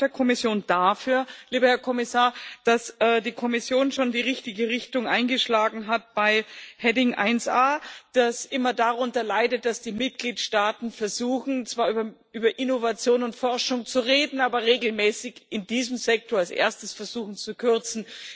Ich danke auch der Kommission dafür, lieber Herr Kommissar, dass die Kommission schon die richtige Richtung eingeschlagen hat bei Rubrik 1a, die immer darunter leidet, dass die Mitgliedstaaten versuchen, zwar über Innovation und Forschung zu reden, aber regelmäßig in diesem Sektor als Erstes versuchen zu kürzen.